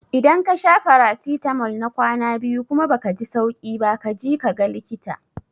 Idan kasha farasitamol na kwana biyu kuma baka ji sauki ba kaji kaga likita